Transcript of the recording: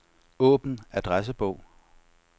Åbn adressebog.